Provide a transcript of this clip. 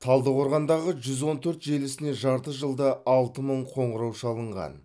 талдықорғандағы жүз он төрт желісіне жарты жылда алты мың қоңырау шалынған